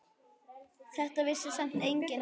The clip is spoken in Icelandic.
Þetta vissi samt enginn þá.